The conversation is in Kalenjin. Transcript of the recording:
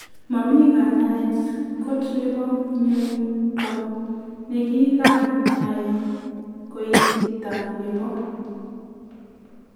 Mamii kanyaet kot nepo mionito nekikanai koititaa nepo.